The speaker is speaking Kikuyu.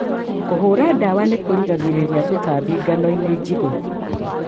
Kũhũra dawa nĩkũgiragĩrĩria tũtambi nganoinĩ njige.